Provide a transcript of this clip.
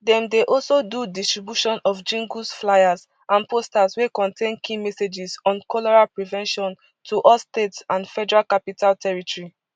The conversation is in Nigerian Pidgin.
dem dey also do distribution of jingles flyers and posters wey contain key messages on cholera prevention to all states and federal capital territory